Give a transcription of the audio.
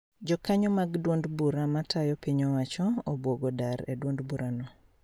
Jokanyo mag duond bura matayo piny owacho obwogo dar e duond bura no